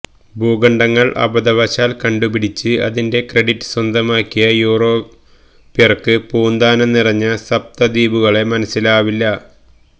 ഭൂഖണ്ഡങ്ങള് അബദ്ധവശാല് കണ്ടുപിടിച്ച് അതിന്റെ ക്രെഡിറ്റ് സ്വന്തമാക്കിയ യൂറോപ്യര്ക്ക് പൂന്താനം പറഞ്ഞ സപ്ത ദ്വീപുകളെ മനസ്സിലാവില്ല